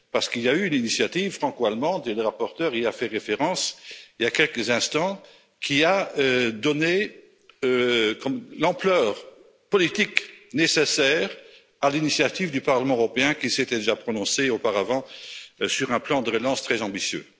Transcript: Il y a eu une initiative franco allemande et le rapporteur y a fait référence il y a quelques instants qui a donné l'ampleur politique nécessaire à l'initiative du Parlement européen, qui s'était déjà prononcé auparavant sur un plan de relance très ambitieux.